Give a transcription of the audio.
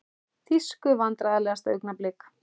Þýsku Vandræðalegasta augnablik?